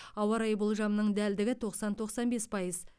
ауа райы болжамының дәлдігі тоқсан тоқсан бес пайыз